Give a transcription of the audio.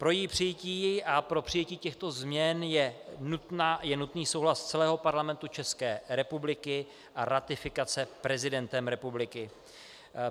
Pro její přijetí a pro přijetí těchto změn je nutný souhlas celého Parlamentu České republiky a ratifikace prezidentem republiky.